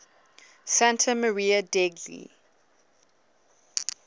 santa maria degli